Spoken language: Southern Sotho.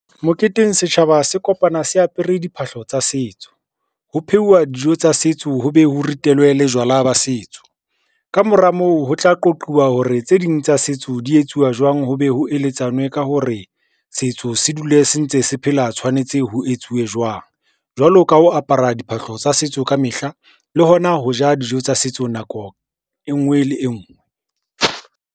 Moketeng setjhaba se kopane se apere diphahlo tsa setso, ho pheuwa dijo tsa setso, ho be ho ritelwe le jwala ba setso. Ka mora moo ho tla qoquwa hore tse ding tsa setso di etsuwa jwang, ho be ho eletswane ka hore setso se dule se ntse se phela tshwanetse ho etsuwe jwang. Jwalo ka ho apara diphahlo tsa setso ka mehla le hona ho ja dijo tsa setso nako e ngwe le e ngwe.